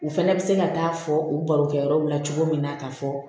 U fana bɛ se ka taa fɔ u barokɛ yɔrɔ la cogo min na k'a fɔ